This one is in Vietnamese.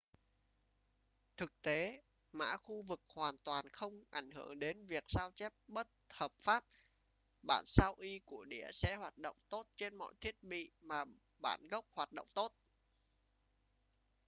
thực tế mã khu vực hoàn toàn không ảnh hưởng đến việc sao chép bất hợp pháp bản sao y của đĩa sẽ hoạt động tốt trên mọi thiết bị mà bản gốc hoạt động tốt